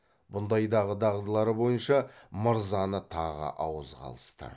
бұндайдағы дағдылары бойынша мырзаны тағы ауызға алысты